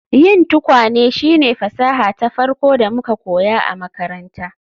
Yin tukwane shine fasaha ta farko da muka koya a makaranta